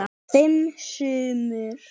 Fimm sumur